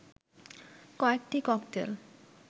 কয়েকটি ককটেল